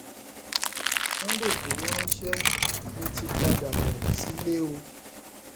sunday igboro ránṣẹ mo ti ń padà bọ nílé o